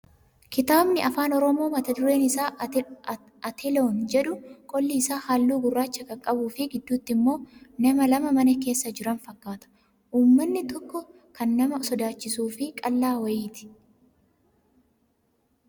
Kitaabni afaan oromoo mata dureen isaa "Ate-loon " jedhu qolli isaa halluu gurraacha kan qabuu fi gidduutti immoo nama lama mana keessa jiran fakkaata. Uumamni inni tokko kan nama sodaachisuu fi qal'aa wayiiti.